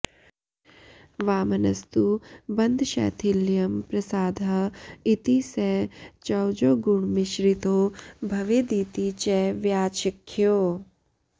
वामनस्तु बन्धशैथिल्यं प्रसादः इति स चौजोगुणमिश्रितो भवेदिति च व्याचख्यौ